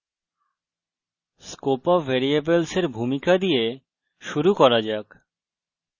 scope of ভ্যারিয়েবলসের ভূমিকা দিয়ে শুরু করা যাক